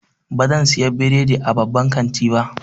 Bazan saya bredi a babban kanti ba.